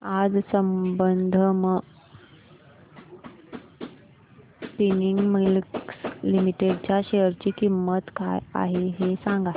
आज Sambandam spinning mills limited च्या share ची किंमत काय आहे हे सांगा